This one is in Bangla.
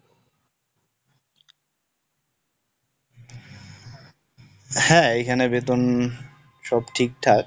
হ্যাঁ, এইখানে বেতন সব ঠিকঠাক।